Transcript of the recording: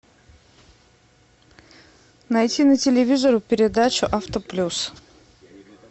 найти на телевизоре передачу авто плюс